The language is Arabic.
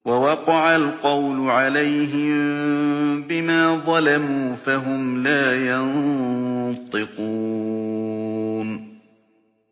وَوَقَعَ الْقَوْلُ عَلَيْهِم بِمَا ظَلَمُوا فَهُمْ لَا يَنطِقُونَ